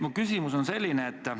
Minu küsimus on selline.